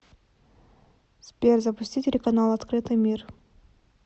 сбер запусти телеканал открытый мир